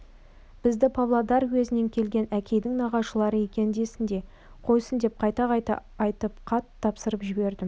бізді павлодар уезінен келген әкейдің нағашылары екен десін де қойсын деп қайта-қайта айтып қатты тапсырып жібердім